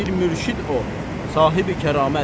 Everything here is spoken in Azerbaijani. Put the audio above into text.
Bir mürşid o, sahibi kəramət.